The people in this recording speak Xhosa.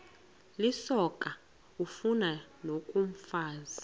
lisoka ufani nokomfazi